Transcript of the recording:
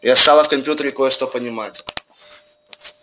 я стала в компьютере кое-что понимать